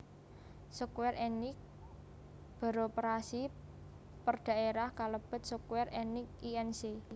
Square Enix beroperasi perdaerah kalèbèt Square Enix Inc